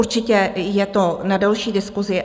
Určitě je to na delší diskusi.